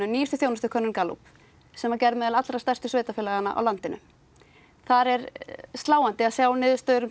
nýjustu þjónustukönnun Gallup sem var gerð meðal allra stærstu sveitafélaganna í landinu þar er sláandi að sjá niðurstöður um